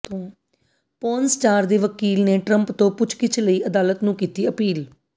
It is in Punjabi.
ਪੋਰਨ ਸਟਾਰ ਦੇ ਵਕੀਲ ਨੇ ਟਰੰਪ ਤੋਂ ਪੁੱਛਗਿੱਛ ਲਈ ਅਦਾਲਤ ਨੂੰ ਕੀਤੀ ਅਪੀਲ